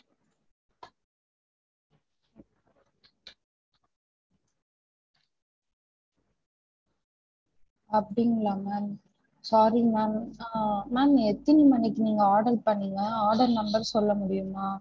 அப்புடிங்களா ma'am sorry ma'am ஆஹ் ma'am எத்தினி மணிக்கு நீங்க order பன்னிங்க order number சொல்ல முடியுமா? ஹம்